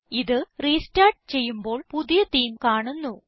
ഇത് റെസ്റ്റാർട്ട് ചെയ്യുമ്പോൾ പുതിയ തേമെ കാണുന്നു